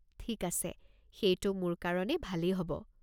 ঠিক আছে, সেইটো মোৰ কাৰণে ভালেই হ'ব।